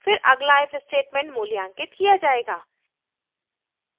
फिर अगला if statement मूल्यांकित किया जायेगा